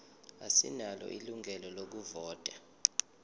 asinalo ilungelo lokuvota